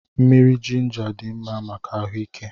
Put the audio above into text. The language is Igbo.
Mmiri jịnjà dị mmá màkà ahuike